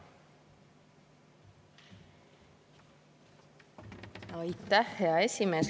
Aitäh, hea esimees!